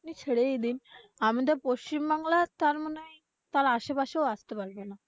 ছেড়েই দিন। আমাদের পশ্চিমবাংলা তারমানে তার আসেপাশেও আসতে পারবে না।